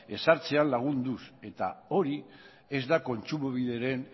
ezartzean lagunduz eta hori ez da kontsumobideren